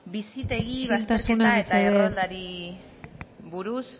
bizitegi bazterketa eta erroldari buruz